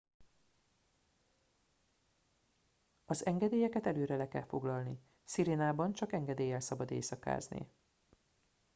az engedélyeket előre le kell foglalni sirenában csak engedéllyel szabad éjszakázni